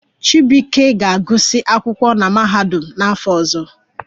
Chibuike ga-agụsị akwụkwọ na mahadum n'afọ ọzọ